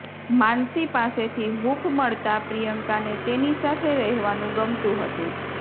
માનસી પાસેથી હુંફ મળતાં પ્રિયંકાને તેની સાથે રહેવાનું ગમતું હતું